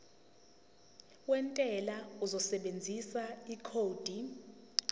wentela uzosebenzisa ikhodi